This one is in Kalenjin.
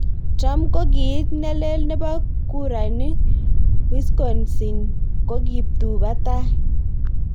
Trump:Kokiit nelel nebo kurani Wisconsin ko kiptubatai.